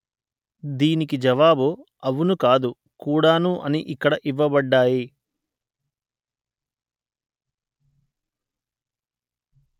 దీనికి జవాబు అవును కాదు కూడాను అని ఇక్కడ ఇవ్వబడ్డాయి